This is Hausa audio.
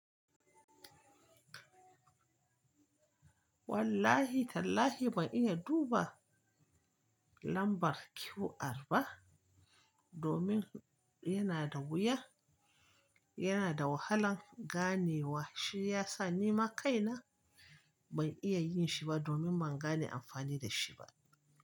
Wallahi tallahi ban iya duba lambar QR ba domin yana da wuya, yana da wahalan ganewa shiyasa nima kaina ban iya yin shi ba domin ban gane amfani da shi ba.